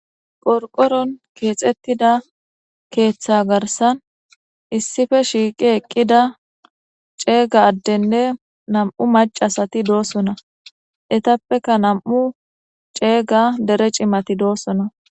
qorqoron keexettida keeththa garsan issife shiiqi eqqida ceega addenne nam7u macasati doosona etappeka nam7u ceega dere cimati doosona